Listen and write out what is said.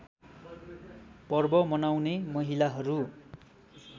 पर्व मनाउने महिलाहरू